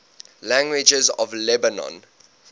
languages of lebanon